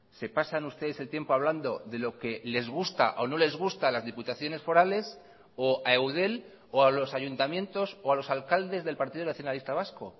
se pasan ustedes el tiempo hablando de lo que les gusta o no les gusta a las diputaciones forales o a eudel o a los ayuntamientos o a los alcaldes del partido nacionalista vasco